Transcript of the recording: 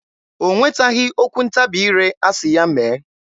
O nwetaghị okwu ntabi ire asị ya mee.